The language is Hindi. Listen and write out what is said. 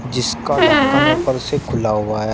जिसका ढक्कन ऊपर से खुला हुआ है।